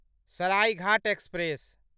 Saraighat express